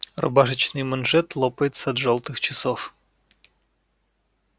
рубашечный манжет лопается от жёлтых часов